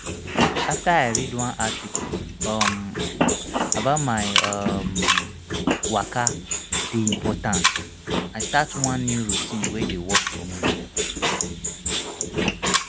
after i read one article um about why um waka dey important i start one new routine wey dey work for me.